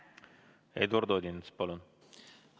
Eduard Odinets, palun!